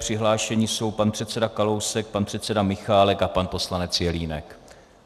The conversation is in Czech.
Přihlášeni jsou pan předseda Kalousek, pan předseda Michálek a pan poslanec Jelínek.